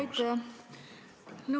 Aitäh!